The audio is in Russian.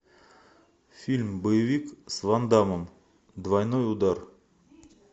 фильм боевик с ван даммом двойной удар